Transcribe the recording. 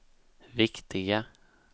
viktiga